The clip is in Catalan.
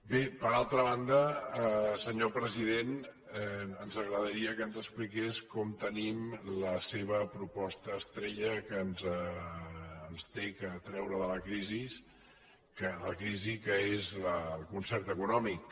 bé per altra banda senyor president ens agradaria que ens expliqués com tenim la seva proposta estrella que ens ha de treure de la crisi que és el concert econòmic